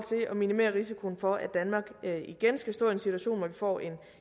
at minimere risikoen for at danmark igen skal stå i en situation hvor vi får en